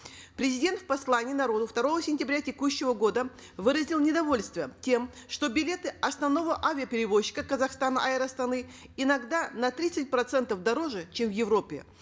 президент в послании народу второго сентября текущего года выразил недовольство тем что билеты основного авиаперевозчика казахстана эйр астаны иногда на тридцать процентов дороже чем в европе